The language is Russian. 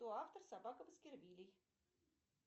кто автор собака баскервилле